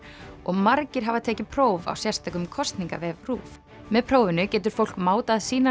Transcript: og margir hafa tekið próf á sérstökum kosningavef RÚV með prófinu getur fólk mátað sínar